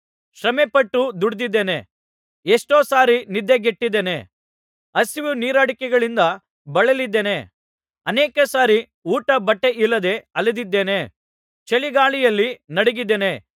ಶ್ರಮೆಪಟ್ಟು ದುಡಿದಿದ್ದೇನೆ ಎಷ್ಟೋ ಸಾರಿ ನಿದ್ದೆಗೆಟ್ಟಿದ್ದೇನೆ ಹಸಿವು ನೀರಡಿಕೆಗಳಿಂದ ಬಳಲಿದ್ದೇನೆ ಅನೇಕ ಸಾರಿ ಊಟ ಬಟ್ಟೆಯಿಲ್ಲದೆ ಅಲೆದಿದ್ದೇನೆ ಚಳಿಗಾಳಿಯಲ್ಲಿ ನಡುಗಿದ್ದೇನೆ